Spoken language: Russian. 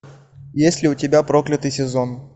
есть ли у тебя проклятый сезон